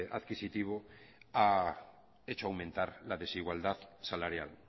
adquisitivo ha hecho aumentar la desigualdad salarial